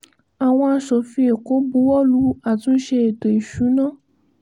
àwọn aṣòfin èkó buwọ́ lu àtúnṣe ètò ìṣúná